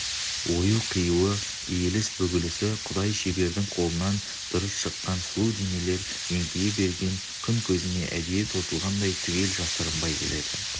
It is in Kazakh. ою-қиюы иіліс-бүгілісі құдай-шебердің қолынан дұрыс шыққан сұлу денелер еңкейе берген күн көзіне әдейі тосылғандай түгел жасырынбай келеді